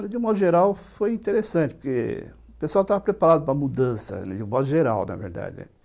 De modo geral, foi interessante, porque o pessoal estava preparado para a mudança, de modo geral, na verdade.